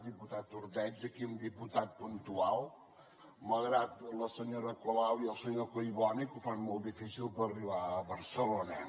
diputat ordeig aquí un diputat puntual malgrat la senyora colau i el senyor collboni que ho fan molt difícil per arribar a barcelona